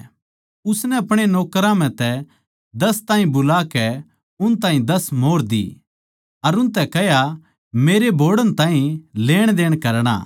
उसनै अपणे नौकरां म्ह तै दस ताहीं बुलाकै उन ताहीं दस मोंहर दी अर उनतै कह्या मेरै बोहड़ण ताहीं लेणदेण करणा